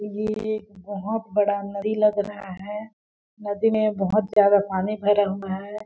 ये बहुत बड़ा नदी लग रहा है नदी में बहुत ज्यादा पानी भरा हुआ है।